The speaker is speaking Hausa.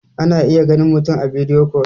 ana iya ganin mutum a bidiyo kol